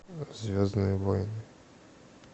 звездные войны